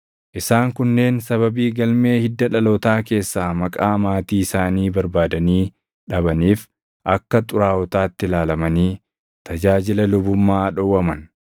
Isaan kunneen sababii galmee hidda dhalootaa keessaa maqaa maatii isaanii barbaadanii dhabaniif akka xuraaʼotaatti ilaalamanii tajaajila lubummaa dhowwaman.